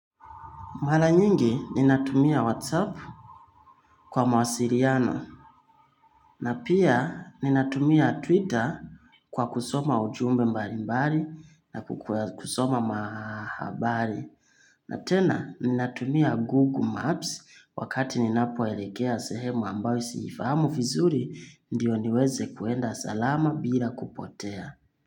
Mara nyingi ninatumia Whatsapp kwa mawasiliano na pia ninatumia Twitter kwa kusoma ujumbe mbali mbali na kusoma mahabari. Na tena ninatumia Google Maps wakati ninapoelekea sehemu ambayo siifamu vizuri ndio niweze kuenda salama bila kupotea.